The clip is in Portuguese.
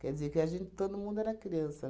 Quer dizer que a gente todo mundo era criança.